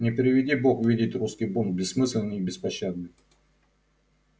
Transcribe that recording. не приведи бог видеть русский бунт бессмысленный и беспощадный